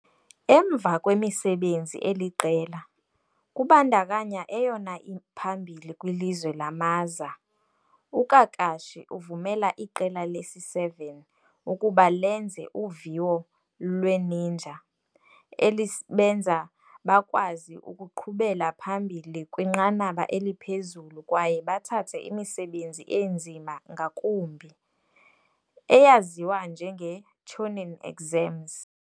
Emva kwemisebenzi eliqela, kubandakanya eyona iphambili kwiLizwe lamaza, uKakashi uvumela iQela lesi-7 ukuba lenze uviwo lwe-ninja, elibenza bakwazi ukuqhubela phambili kwinqanaba eliphezulu kwaye bathathe imisebenzi enzima ngakumbi, eyaziwa njenge-Chunin Exams.